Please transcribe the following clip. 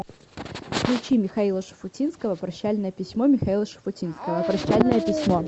включи михаила шуфутинского прощальное письмо михаила шафутинского прощальное письмо